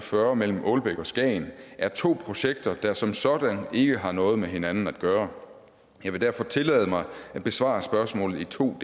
fyrre mellem aalbæk og skagen er to projekter der som sådan ikke har noget med hinanden at gøre jeg vil derfor tillade mig at besvare spørgsmålet i to